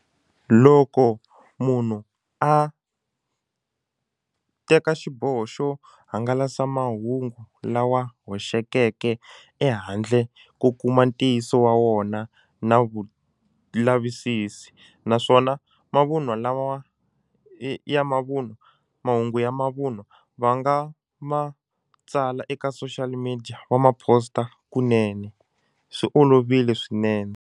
Loko munhu a teka xiboho xo hangalasa mahungu lawa hoxekeke ehandle ko kuma ntiyiso wa wona na vulavisisi naswona mavunwa lawa ya mavunwa mahungu ya mavunwa va nga ma tsala eka social media va ma poster kunene swi olovile swinene.